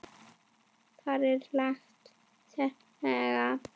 Þar er langt seilst.